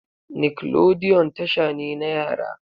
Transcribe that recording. Nickelodeon tasha ne na yara.